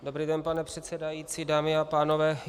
Dobrý den, pane předsedající, dámy a pánové.